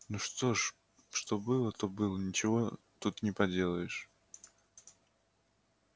ну что ж что было то было ничего тут не поделаешь